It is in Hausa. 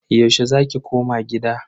Yaushe za ki koma gida?